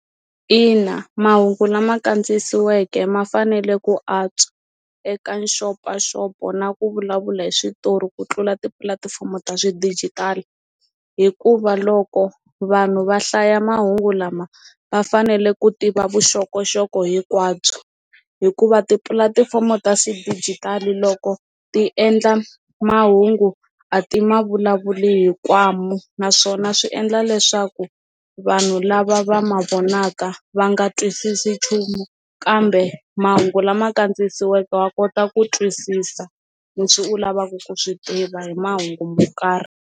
Ina mahungu lama kandziyisiweke ma fanele ku antswa eka nxopanxopo na ku vulavula hi switori ku tlula tipulatifomo ta xidijitali hikuva loko vanhu va hlaya mahungu lama va fanele ku tiva vuxokoxoko hinkwabyo, hikuva tipulatifomo ta xidigital loko ti endla mahungu a ti ma vulavuli hi naswona swi endla leswaku vanhu lava va va ma vonaka va nga twisisi nchumu kambe mahungu lama kandziyisiweke wa kota ku twisisa leswi u lavaka ku swi tiva hi mahungu mo karhi.